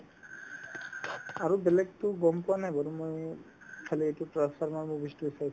আৰু বেলেগতো গম পোৱা নাই বাৰু মই খালী এইটো transformers movies তোহে চাইছিলো